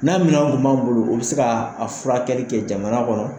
N'a minɛnw tun b'an bolo o be se ka a furakɛli kɛ jamana kɔnɔ